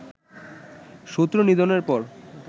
শত্রু নিধনের পর